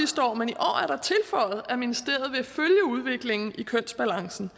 godt tilføjet at ministeriet vil følge udviklingen i kønsbalancen